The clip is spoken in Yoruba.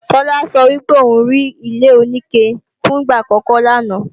Tola sọ wípé òun rí ilé-oníke fún ìgbà àkọ́kọ́ lánàá